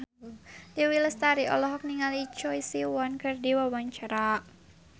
Dewi Lestari olohok ningali Choi Siwon keur diwawancara